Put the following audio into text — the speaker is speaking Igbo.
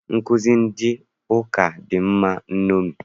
Nkụzi ndị ụka dị mma nṅomi.